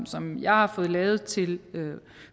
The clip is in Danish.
som jeg har fået lavet til